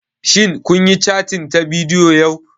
Shin kun yi cattin ta bidiyo yau?